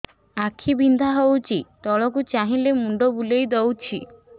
ଆଖି ବିନ୍ଧା ହଉଚି ତଳକୁ ଚାହିଁଲେ ମୁଣ୍ଡ ବୁଲେଇ ଦଉଛି